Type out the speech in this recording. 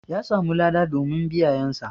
Ƴa samu lada domin biyayan sa.